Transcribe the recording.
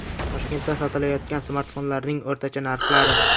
Toshkentda sotilayotgan smartfonlarning o‘rtacha narxlari.